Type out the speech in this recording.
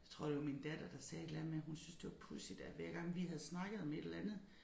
Jeg tror det var min datter der sagde et eller andet med hun syntes det var pudsigt at hver gang vi havde snakket om et eller andet